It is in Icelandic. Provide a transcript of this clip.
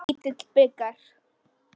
Lítill bikar.